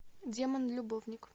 демон любовник